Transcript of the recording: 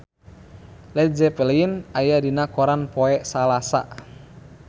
Led Zeppelin aya dina koran poe Salasa